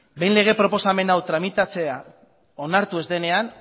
behin lege proposamen hau tramitatzea onartu ez denean